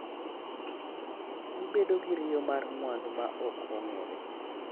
Ibedo gi riyo mar mwandu ma ok ong’ere.